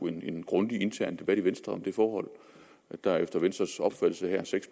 en grundig intern debat i venstre om det forhold at der efter venstres opfattelse her seks